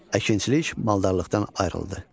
Əkinçilik maldarlıqdan ayrıldı.